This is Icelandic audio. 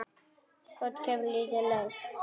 Út kemur lítið lauf.